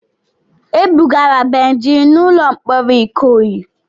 E bugara Benji n'ụlọ mkpọrọ Ikoyi.